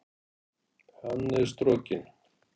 Hann er strokinn!